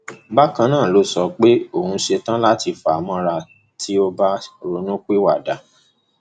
bákan náà ló sọ pé òun ṣetán láti fà á mọra tí ò bá ronúpìwàdà